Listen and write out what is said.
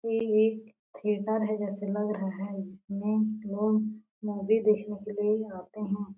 ये एक थिएटर है जैसे लग रहा है इसमें लोग मूवी देखने आते है।